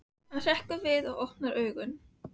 Þau ganga fyrir næsta horn og sjá þá aðrar dyr.